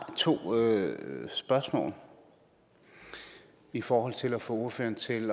to spørgsmål i forhold til at få ordføreren til at